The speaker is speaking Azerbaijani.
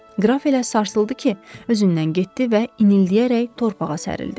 Qraf elə sarsıldı ki, özündən getdi və inildəyərək torpağa sərildi.